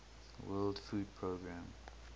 world food programme